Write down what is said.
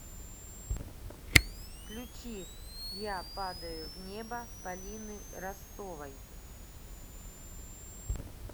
включи я падаю в небо полины ростовой